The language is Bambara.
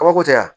Kabako tɛ yan